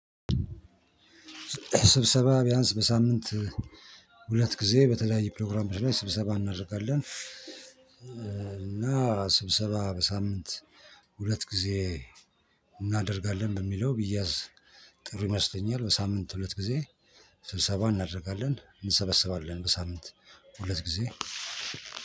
ስብሰባ ቢያንስ በሳምንት ሁለት ጊዜ በተለያዩ ፕሮግራሞች ላይ ስብሰባ እናደርጋለን። እና ስብሰባ በሳምንት ሁለት ጊዜ እናደርጋለን በሚለው ቢያዝ ጥሩ ይመስለኛል። በሳምንት ሁለት ጊዜ ስብሰባ እናደርጋለን። እንሰበሰባለን በሳምንት ሁለት ጊዜ።